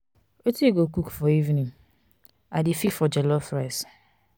wetin you go cook for evening? i dey feel for jollof rice.